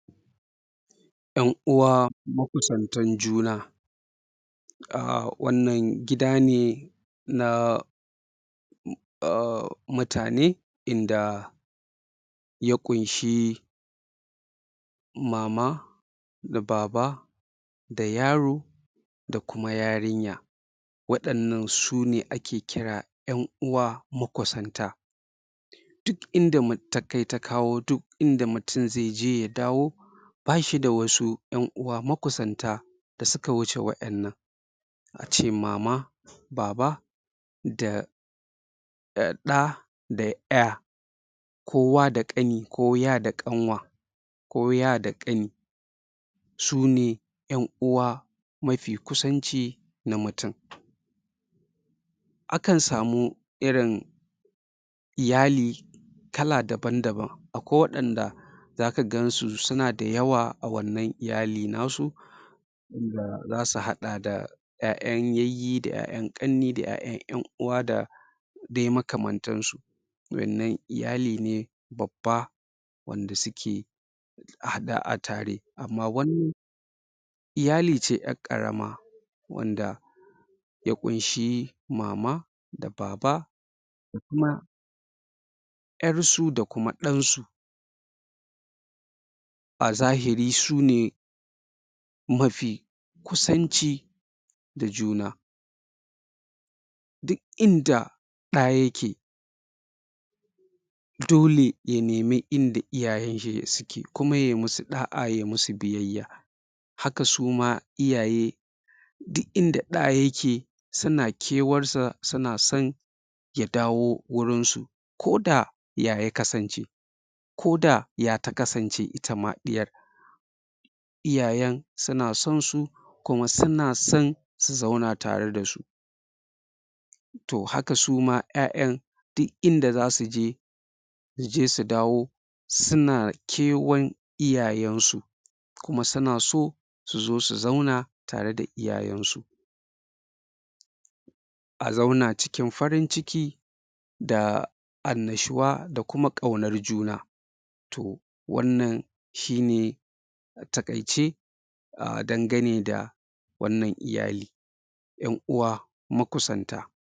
Ƴan uwa makusantan juna a wannan gida ne na mutane in da ya ƙunshi mama da baba da yaro da kuma yarinya. Waɗannan sune ake kira ƴan uwa makusanta. Duk in da takai ta kawo, duk inda mutum zai je ya dawo ba shi da wasu ƴan uwa makusanta da suka wuce waɗannan. a ce mama baba da da ɗa da ƴa. Ko wa da ƙani ko ya da ƙanwa. ko ya da ƙani su ne ƴan uwa mafi kusanci da mutum. Akan samu irin iyali kala dabam-daban. akwai waɗanda za ka gansu suna da yawa a wannan iyalin nasu. in da za su haɗa da ƴaƴan yayye da ƴaƴan ƙannai da ƴaƴan ƴan uwa da dai makamantansu. Wannan iyali ne babba wanda suke haɗe a tare amma wannan iyali ce ƴar ƙarama wanda ya ƙunshi mama da baba da kuma ƴarsu da kuma ɗansu. A zahiri su ne mafi kusanci da juna. duk in da ɗa yake, Dole ya nemi inda iyayenshi suke kuma ya yi masu ɗa'a ya yi masu biyayya haka suma iyaye duk inda ɗa yake suna kewarsa suna son ya dawo wurinsu ko da ya ya kasance ko da ya ta kasan iyayen suna sonsu kuma suna son su zauna tare da su. To haka su ma ƴaƴan duk in da za su je su je su dawo suna kewar iyayensu. Kuma suna so su zo su zauna tare da iyayensu. a zauna cikin farin ciki da annashuwa da kuma ƙaunar juna. to wannan shi ne a taƙaice dandane da wannan iyaye ƴan uwa makusanta.